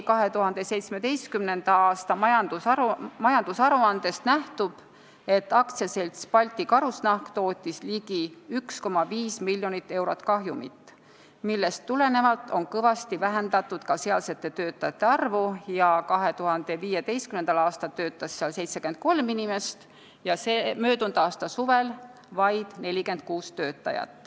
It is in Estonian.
2017. aasta majandusaruandest nähtub, et AS Balti Karusnahk sai ligi 1,5 miljonit eurot kahjumit, millest tulenevalt on kõvasti vähendatud ka sealsete töötajate arvu: 2015. aastal töötas seal 73 inimest, möödunud aasta suvel vaid 46.